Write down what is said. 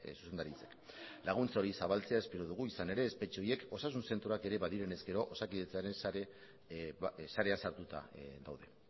zuzendaritzak laguntza hori zabaltzea espero dugu izan ere espetxe horiek osasun zentroak ere badiren ezkero osakidetzaren sarean sartuta daude